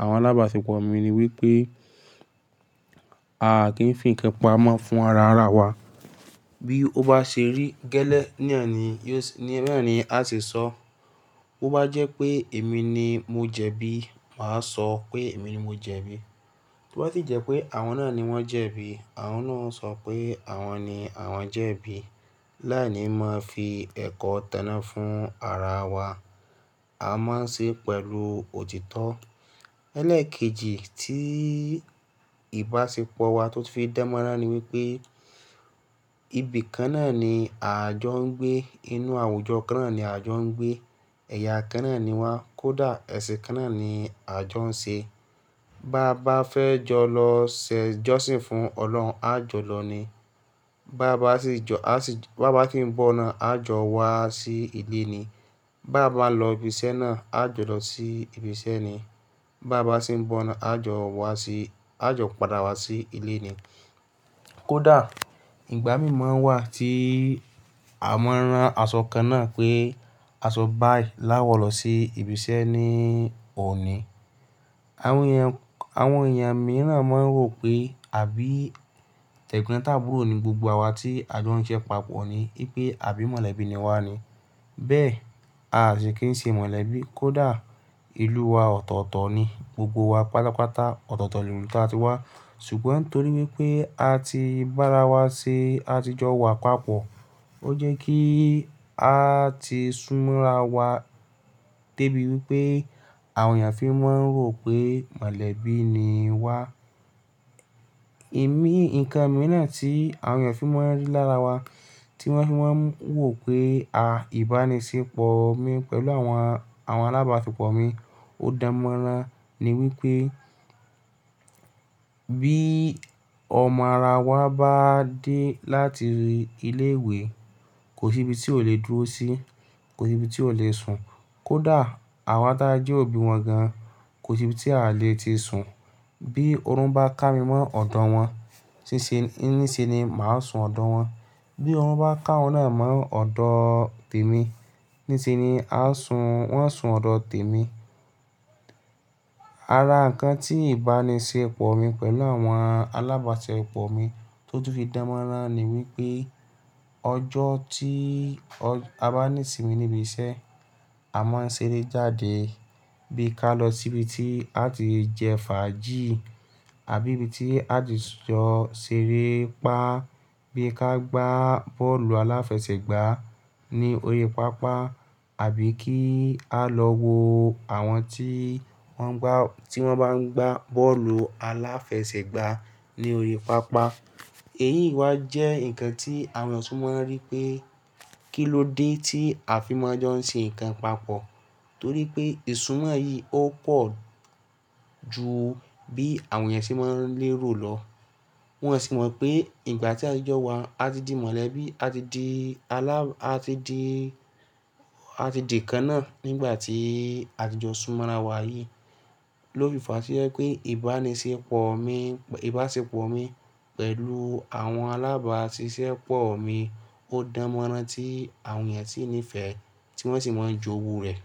àwọn alábáṣepọ̀ mi ni wípé a kì í fi ìkẹ́pà mọ́ fún ara ara wa. Bí ó bá ṣe rí gẹ́lẹ́ ní ẹ̀ni, yóò ní mẹ́rin á sì sọ. Bo bá jẹ́ pé èmi ni mo jẹ̀bi, màá sọ pé èmi ni mo jẹ̀bi. Bo bá sì jẹ́ pé àwọn náà ni wọ́n jẹ̀bi, àwọn náà ó sọ pé àwọn ni àwọn jẹ̀bi. Láì ní máa fi ẹ̀kọ́ tẹná fún ara wa. A máa ń ṣe pẹ̀lú òtítọ́. Ẹlẹ́ẹ̀kejì tí ìbáṣepọ̀ wa tó ti fi dárñ mọ́ran ni wípé ibi kan náà ni à ń jọ gbé, inú àwùjọ kan náà ni à ń jọ gbé, ẹ̀yà kan náà ni wa kódà ẹ̀sìn kan náà ni à ń jọ ń ṣe. Bá bà fẹ́ jọ lọ ṣè jọ́sìn fún Ọlọ́run, a jọ lọ ni. Bá bà sì jọ, bá bà sín ń bọ̀ náà, a jọ wá sí ilé ni. Bá bà lọ ibi iṣẹ́ náà, a jọ lọ sí ibi iṣẹ́ ni. Bá bà sì ń bọ̀ náà, a jọ wá sí, a jọ padà wá sí ilé ni. Kódà ìgbà mìíràn wà tí à ń ran aṣọ kan náà pé aṣọ báà ì láwọ lọ sí ibi iṣẹ́ ni ò ní. Àwọn èèyàn, àwọn èèyàn mìíràn máa ń rò pé àbí tẹ̀gbọ́ntàbúrò ni gbogbo awa tí a jọ ń ṣe papọ̀ ni. Wípé àbí mọ̀lẹ́bí ni wá ni. Bẹ́ẹ̀ a sì kì ń ṣe mọ̀lẹ́bí. Kódà ìlú u wa ọ̀tọ̀ọ̀tọ̀ ni gbogbo wa pálopáta ọ̀tọ̀ọ̀tọ̀ ìlú ta a ti wá. Ṣùgbọ́n torí wípé a ti bá ara wa ṣe àtijọ́ wa papọ̀, ó jẹ́ kí a ti súnmọ́ ara wa débi wípé àwọn èèyàn fi máa ń rò pé mọ̀lẹ́bí ni wá. Ẹ̀mí, ǹkan mìíràn tí àwọn èèyàn fi máa ń rí lára wa, tí wọ́n fi máa ń wò pé à ìbánisẹ́pọ̀ mi pẹ̀lú àwọn, àwọn alábáṣepọ̀ mi ó dán mọ́ran ni wípé bí ọmọ ara wa bá dé láti ilé ìwé, kò sí ibi tí ó lè dúró sí, kò sí ibi tí ó lè sùn. Kódà àwa táa jẹ́ òbí wọn gan, kò sí ibi tí a lè ti sùn. Bí oòrùn bá ká mi mọ́ ọ̀dọ̀ wọn, nísinsin ni màá sùn ọ̀dọ̀ wọn. Bí oòrùn bá ká wọn náà mọ́ ọ̀dọ̀ tèmi, nísinsin ni a sùn, wọ́n sùn ọ̀dọ̀ tèmi. Ara ǹkan tí ìbánisẹ́pọ̀ mi pẹ̀lú àwọn alábáṣepọ̀ mi tó tún fi dára mọ́ra ni wípé ọjọ́ tí a bá nísinmi níbi iṣẹ́, a máa ń ṣeré jáde bí ka lọ sí ibi tí a ti jẹ fàájì àbí ibi tí a ti jọ ṣeré pá. Bí ka gba bọ́ọ̀lù aláfẹsẹ̀gbá ní orí pápá àbí kí a lọ wo àwọn tí wọ́n ń gbá tí wọ́n bá ń gbá bọ́ọ̀lù aláfẹsẹ̀gbá ní orí pápá. Èyí wa jẹ́ ǹkan tí àwọn ọ̀tún máa ń rí pé kí ló dé tí a fi máa ń jọ ń ṣe ǹkan papọ̀. Torí pé ìsunmọ́ yìí ó pọ̀ ju bí àwọn èèyàn ṣe máa ń lérò lọ. Wọn sì mọ̀ pé ìgbà tí àtijọ́ wa, a ti di mọ̀lẹ́bí, a ti di alá, a ti di, a ti di ǹkan náà nígbà tí àtijọ́ súnmọ́ ara wa yìí ló fi fa sí wípé ìbánisẹ́pọ̀ mi, ìbáṣepọ̀ mi pẹ̀lú àwọn alábáṣiṣẹ́pọ̀ mi ó dára mọ́ra tí àwọn èèyàn sì ń nífẹ̀ẹ́, tí wọ́n sì máa ń jóru rẹ̀.